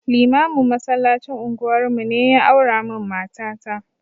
Limamin masallacin unguwar mu ne ya aura min mata ta